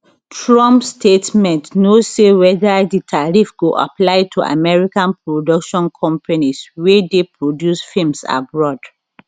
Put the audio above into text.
trump statement no say weda di tariff go apply to american production companies wey dey produce films abroad